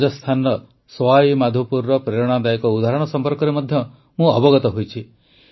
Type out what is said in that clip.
ରାଜସ୍ଥାନର ସୱାଇ ମାଧୋପୁରର ପ୍ରେରଣାଦାୟକ ଉଦାହରଣ ସମ୍ପର୍କରେ ମଧ୍ୟ ମୁଁ ଅବଗତ ହୋଇଛି